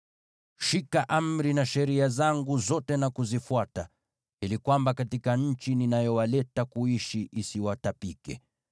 “ ‘Zishikeni amri na sheria zangu zote na kuzifuata, ili nchi ninayowaleta kuishi isiwatapike.